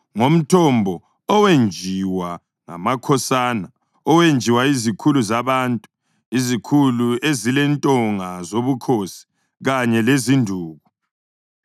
ngomthombo owenjiwa ngamakhosana, owenjiwa yizikhulu zabantu, izikhulu ezilentonga zobukhosi kanye lezinduku.” Basuka-ke enkangala bayafika eMathana,